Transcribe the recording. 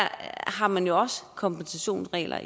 har man jo også kompensationsregler